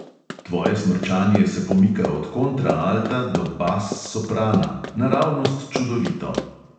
Tvoje smrčanje se pomika od kontraalta do bas soprana, naravnost čudovito!